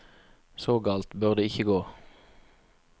Så galt bør det ikke gå.